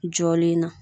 Jɔlen na